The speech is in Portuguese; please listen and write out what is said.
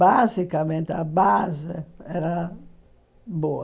Basicamente, a base era boa.